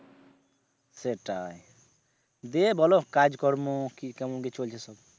সেটাই দিয়ে বল কাজ কর্ম কি কেমন চলছে সব?